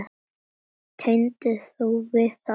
Tengir þú við það?